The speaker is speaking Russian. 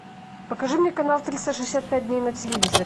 покажи мне канал триста шестьдесят пять дней на телевизоре